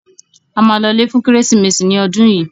A ma lọlé fún Kérésìmesì ní ọdún yìí